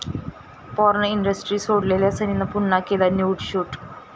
porn industry सोडलेल्या सनीनं पुन्हा केलं न्यूड शूट